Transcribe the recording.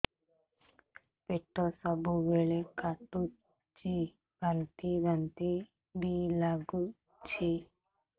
ପେଟ ସବୁବେଳେ କାଟୁଚି ବାନ୍ତି ବାନ୍ତି ବି ଲାଗୁଛି